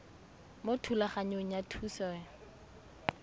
mo thulaganyong ya thuso y